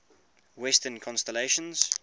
western constellations